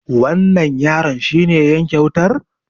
wannan yaron shi ne ya yanke wutar?